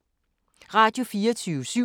Radio24syv